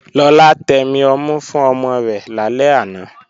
Lọlá tẹmi ọmú fún ọmọ rẹ̀ lálẹ́ àná